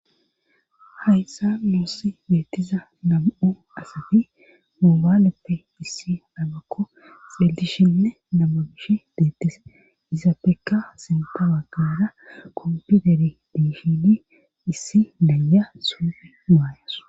Hayssa muossi beettiza nam7o asafi moobaaleppe issi dhabakko xillishenne namabish deettis izafekka sintawa kara kompiuteri diihi issi laya suufi maayes